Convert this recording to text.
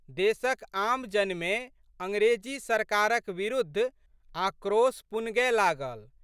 देशक आमजनमे अंग्रेजी सरकारक बिरुद्ध आक्रेश पुनगए लागल।